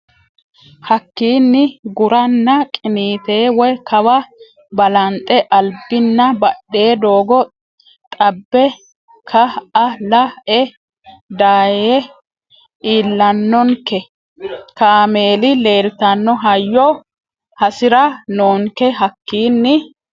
Hakiini guranna qiniite woy kawa balanxe albinna badhe doogo xabbe ka a la e dayee iillannonke kaameeli leeltanno hayyo hasi ra noonke Hakiini.